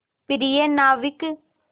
प्रिय नाविक